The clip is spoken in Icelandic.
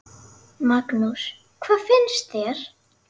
Magnús: Hvað finnst þér?